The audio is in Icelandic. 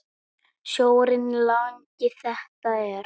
Sjórinn langi þetta er.